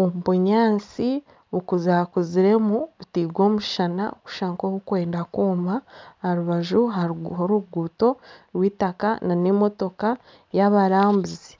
omu bunyaatsi bukuzakuziremu butairwe omushana bukushusha nka obukwenda kwooma aha rubaju hariho oruguuto rw'eitaaka na n'emotooka y'abarambuzi.